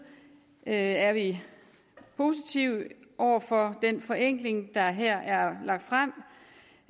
er er vi positive over for den forenkling der her er lagt frem